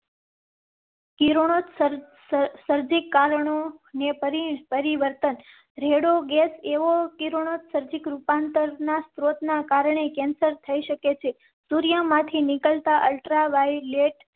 કિરણોત્સર્ગી કારણો ને પરિ પરિવર્તન રેડો ગેસ એવો કિરણોત્સર્જક રૂપાંતર ના સ્રોત ના કારણે કેન્સર થઈ શકે છે. સૂર્ય માંથી નીકળતાં અલ્ટ્રા વાય લેટ